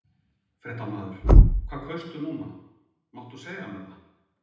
Fréttamaður: Hvað kaustu núna, máttu segja mér það?